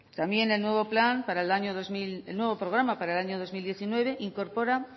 también el nuevo programa para el año dos mil diecinueve incorpora